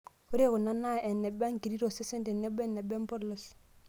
Ore kuna naa eneba nkiri tosesen tenebo eneba empolos.